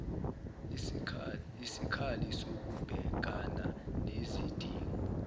isikhali sokubhekana nezidingo